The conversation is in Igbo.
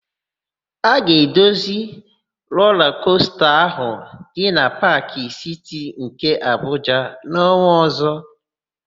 A ga-edozi rola kosta ahụ dị na Paakị Siti nke Abuja n'ọnwa ọ̀zọ́.